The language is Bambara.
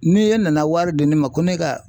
Ni e nana wari di ne ma ko ne ka